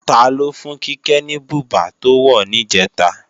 Taló fún Kíkẹ́ ní bùbá tó wọ̀ níjẹ̀ta